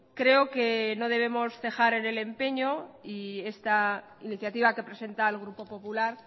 creo que no debemos cejar en el empeño y esta iniciativa que presenta el grupo popular